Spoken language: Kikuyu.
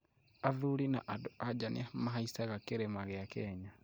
Athuri na andũ anja nĩmahaicaga kĩrĩma gĩa Kenya